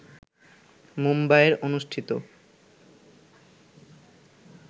মুম্বাইয়ের অনুষ্ঠিত